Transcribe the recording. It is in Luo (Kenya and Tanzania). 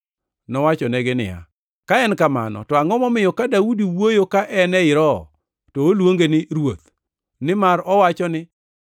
Nowachonegi niya, “Ka en kamano to angʼo momiyo ka Daudi wuoyo ka en ei Roho to oluonge ni, ‘Ruoth’? Nimar owacho ni,